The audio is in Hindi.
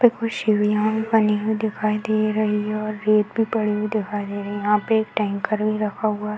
पे कुछ सीढ़िया बनी हुई दिखाई दे रही है और रेत भी पड़ी हुई दिखाई दे रही है। यहाँ पे एक टैंकर भी रखा हुआ है।